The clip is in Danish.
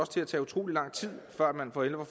til at tage utrolig lang tid før man for alvor